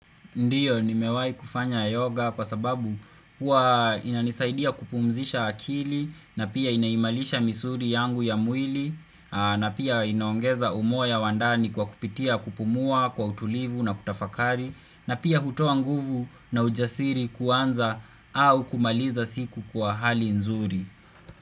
Ndio nimewahi kufanya yoga kwa sababu huwa inanisaidia kupumzisha akili na pia inaimarisha misuli yangu ya mwili na pia inaongeza umoya wa ndani kwa kupitia kupumua kwa utulivu na kutafakari na pia hutoa nguvu na ujasiri kuanza au kumaliza siku kwa hali nzuri.